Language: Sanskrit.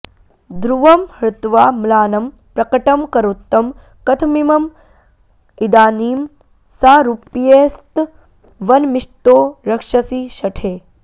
ध्रुवं हृत्वा म्लानं प्रकटमकरोत्तं कथमिमं इदानीं सारूप्यस्तवनमिषतो रक्षसि शठे